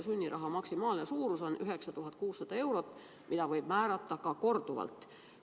Sunniraha maksimaalne suurus on 9600 eurot, mida võib määrata ka korduvalt.